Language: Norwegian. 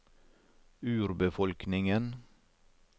urbefolkningen